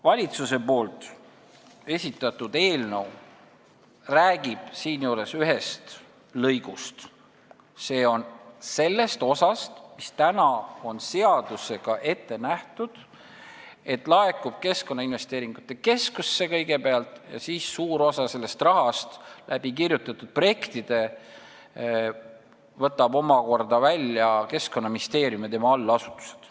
Valitsuse esitatud eelnõu räägib siinjuures ühest lõigust: sellest osast, mis seadusega ettenähtult laekub kõigepealt Keskkonnainvesteeringute Keskusele, kust suure osa rahast võtavad kirjutatud projektide kaudu omakorda välja Keskkonnaministeerium ja tema allasutused.